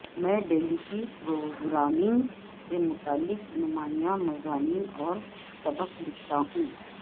میں Delphi programming سے متعلق نمایاں مضامین اور سبق لکھتا ہوں